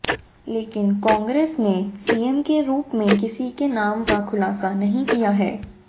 लेकिन कांग्रेस ने सीएम के रुप में किसी के नाम का खुलासा नहीं किया है